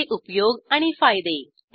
त्याचे उपयोग आणि फायदे